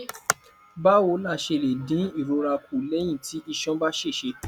báwo la ṣe lè dín ìrora kù léyìn tí iṣan bá ṣèṣe